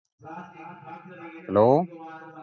hello